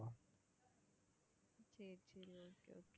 சரி சரி okay okay